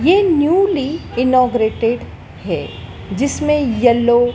ये newly inaugurated है जिसमें येलो --